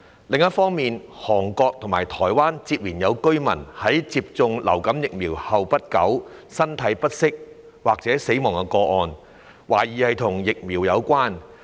另一方面，韓國及台灣接連有居民在接種流感疫苗後不久身體不適或死亡的個案，懷疑與疫苗有關。